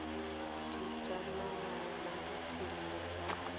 di tsamayang mo ditseleng tsa